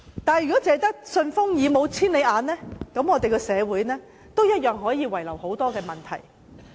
但是，如果只有"順風耳"，而沒有"千里眼"，社會同樣可能有很多問題。